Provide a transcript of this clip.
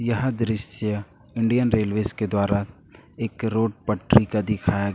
यह दृश्य Indian railways के द्वारा एक रोड पटरी का दिखाया--